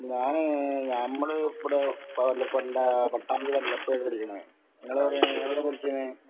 ഞാന് നമ്മൾ പട്ടാമ്പിയിലെല്ലാ ഇപ്പൊ ഇങ്ങള് എവിടെണ് എവിടെ പഠിക്കിന്